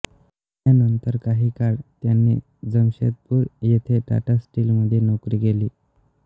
त्यानंतर काही काळ त्यांनी जमशेदपूर येथे टाटा स्टीलमध्ये नोकरी केली